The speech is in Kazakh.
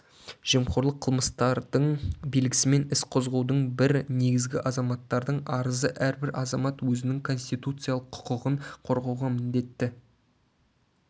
жемқорлық қылмыстардың белгісімен іс қозғаудың бір негізі-азаматтардың арызы әрбір азамат өзінің конституциялық құқығын қорғауға міндетті